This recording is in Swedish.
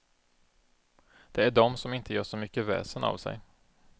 Det är de som inte gör så mycket väsen av sig.